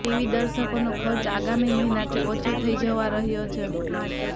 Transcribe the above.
TV દર્શકોનો ખર્ચ આગામી મહિનાથી ઓછો થવા જઈ રહ્યો છે